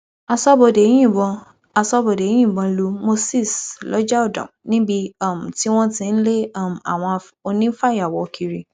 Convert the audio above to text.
aṣọbodè yìnbọn aṣọbodè yìnbọn lu moses lọjàọdàn níbi um tí wọn ti ń lé um àwọn onífàyàwọ kiri